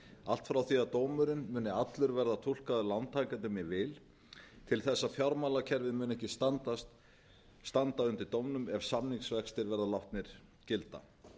allt frá því dómurinn muni allur verða túlkaður lántakendum í vil til þess að fjármálakerfið muni ekki standa undir dómnum ef samningsvextir verða látnir gilda